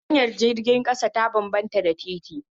Hanyar jirgin ƙasa ta bambanta da titi